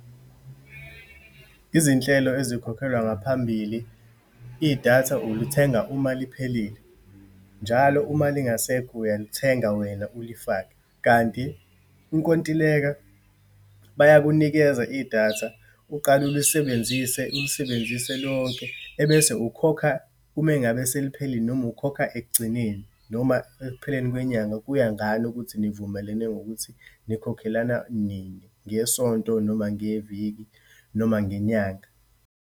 Izinhlelo ezikhokhelwa ngaphambili. Idatha ulithenga uma liphelile, njalo uma lingasekho uyalithenga wena ulifake. Kanti inkontileka, bayakunikeza idatha, uqale ulisebenzise ulisebenzise lonke, ebese ukhokha ume ngabe seliphelile, noma ukhokha ekugcineni, noma ekupheleni kwenyanga. Kuya ngani ukuthi nivumelene ngokuthi nikhokhelana nini, ngesonto, noma ngeviki, noma ngenyanga.